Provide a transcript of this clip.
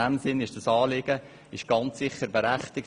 In diesem Sinn ist das Anliegen ganz sicher berechtigt.